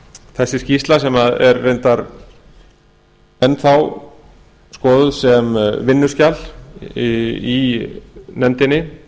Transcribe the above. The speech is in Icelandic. þessi skýrsla sem er reyndar enn þá skoðuð sem vinnuskjal í nefndinni